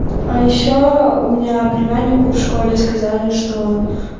а ещё у меня племяннику в школе сказали что